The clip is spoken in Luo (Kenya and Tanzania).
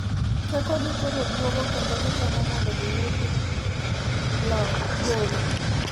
Teko gi koro duogo kendo gitemo mondo giyudo gol .